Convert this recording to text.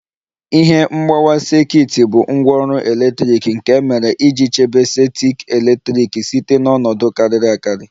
Ihe mgbawa sekit bụ ngwaọrụ eletrik nke e mere iji chebe sekit eletrik site na ọnọdụ kariri akari